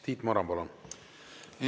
Tiit Maran, palun!